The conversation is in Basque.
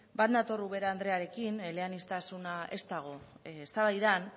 bat nator ubera andrearekin eleaniztasuna ez dago eztabaidan